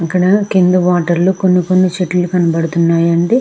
ఇక్కడ కింద వాటర్ లో కొన్ని కొన్ని చెట్లు కానపదుతున్నాయి అండి.